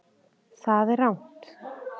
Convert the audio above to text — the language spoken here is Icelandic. Það er rangt